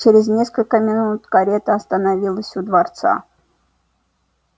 чрез несколько минут карета остановилась у дворца